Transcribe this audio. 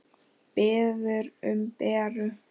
Biður um Beru.